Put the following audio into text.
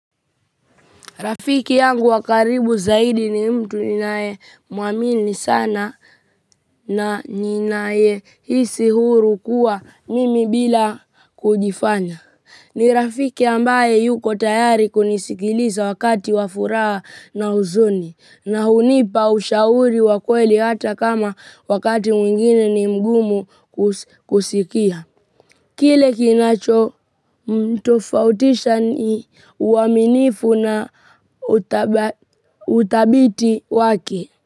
Rafiki yangu wa karibu zaidi ni mtu ninayemuamini sana na ninayehisi huru kuwa mimi bila kujifanya. Ni rafiki ambaye yuko tayari kunisikiliza wakati wa furaha na huzuni na hunipa ushauri wa kweli hata kama wakati mwingine ni mgumu kusikia. Kile kinacho mtofautisha ni uaminifu na uthabiti wake.